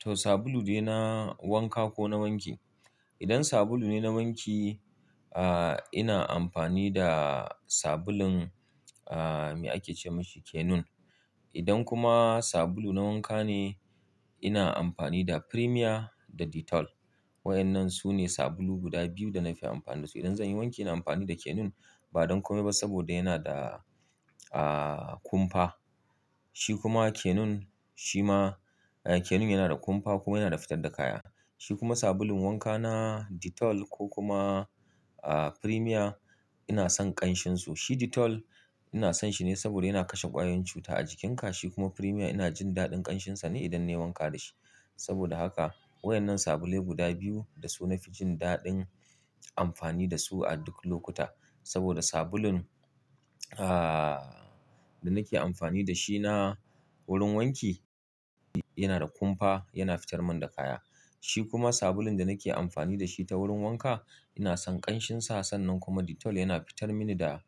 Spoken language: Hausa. To sabulu de na wanka ko na wanki? Idan sabulu ne na wanki, ina amfani da sabulun, me ake ce masa Kenun. Idan kuma sabulu na wanka ne, ina amfani da Premier da Dettol. Wa'yannan su ne sabulu guda biyu da na fi amfani da su. Idan zan yi wanki, ina amfani da Kenun ba don kome ba saboda yana da,, kumfa. Shi kuma Kenun, shi ma, Kenun yana da kumfa kuma yana da fitar da kaya. Shi kuma sabulun wanka na Dettol ko kuma, Premier ina son ƙanshinsu. Shi Dettol ina son shi ne saboda yana kashe ƙwayoyin cuta a jikinka. Shi kuma Premier ina jin daɗin ƙanshinsa ne idan na yi wanka da shi. Saboda haka wayan nan sabulai guda biyu da su na fi jin daɗin amfani da su a duk lokuta. Saboda sabulun, da nake amfani da shi na wurin wanki yana da kumfa, yana fitar mun da kaya. Shi kuma sabulun da nake amfani da shi ta wurin wanka ina son ƙanshinsa. Sannan kuma Dettol yana fitar mini da,